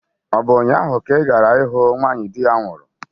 Ọ bụ ụnyaahụ ka ị gara ịhụ nwanyị di ya nwụrụ?